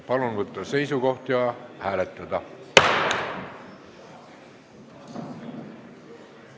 Palun võtta seisukoht ja hääletada!